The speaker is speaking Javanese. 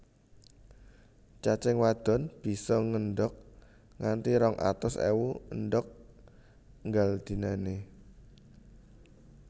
Cacing wadon bisa ngendhog nganti rong atus ewu endhog nggal dinané